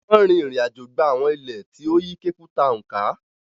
Wọ́n rin ìrìn àjò gba àwọn ilẹ̀ tí ó yí Cape Town ká.